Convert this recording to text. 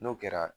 N'o kɛra